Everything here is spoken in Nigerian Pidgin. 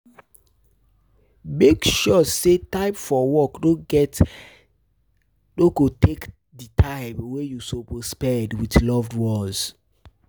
um Make um sure say time for work no go take di time wey you suppose spend with loved ones